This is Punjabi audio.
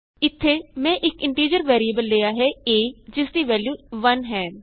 ਇਥੇ ਮੈਂ ਇਕ ਇੰਟੀਜ਼ਰ ਵੈਰੀਏਬਲ ਲਿਆ ਹੈ a ਜਿਸਦੀ ਵੈਲਯੂ 1 ਹੈ